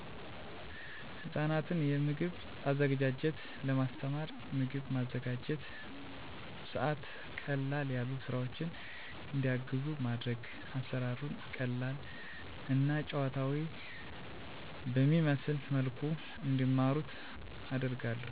ህጻናትን የምግብ አዘገጃጀት ለማስተማር፣ ምግብ በማዘጋጅበት ሰዐት ቀለል ያሉ ስራወችን እንዲያግዙ ማድረግና አሰራሩን ቀለል እና ጨዋታዊ በሚመስል መልኩ እንዲማሩት አደርጋለሁ።